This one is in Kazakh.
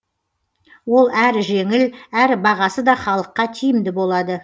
ол әрі жеңіл әрі бағасы да халыққа тиімді болады